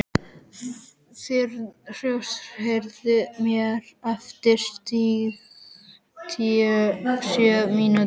Þyrnirós, heyrðu í mér eftir sjötíu og sjö mínútur.